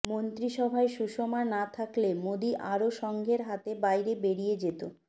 মন্ত্রিসভায় সুষমা না থাকলে মোদী আরও সঙ্ঘের হাতের বাইরে বেরিয়ে যেতে